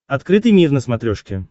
открытый мир на смотрешке